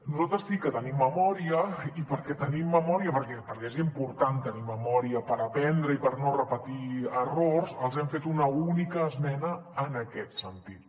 nosaltres sí que tenim memòria i perquè tenim memòria perquè és important tenir memòria per aprendre i per no repetir errors els hem fet una única esmena en aquest sentit